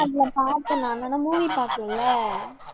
ஆமா அதுல பார்த்தேன் movie பார்க்கலை